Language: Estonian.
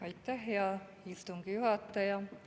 Aitäh, hea istungi juhataja!